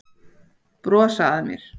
Brosa að mér!